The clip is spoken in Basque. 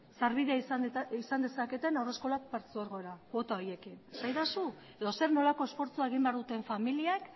sarbide izan dezaketen haurreskola partzuergora kuota horiekin esadazu edo zer nolako esfortzua egin behar duten familiek